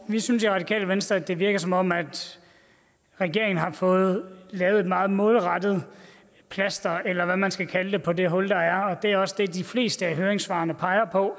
vi synes i radikale venstre at det virker som om regeringen har fået sat et meget målrettet plaster eller hvad man skal kalde det på det hul der er det er også det de fleste af høringssvarene peger på